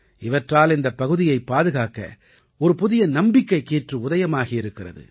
இவற்றால் இந்தப் பகுதியைப் பாதுகாக்க ஒரு புதிய நம்பிக்கைக் கீற்று உதயமாகி இருக்கிறது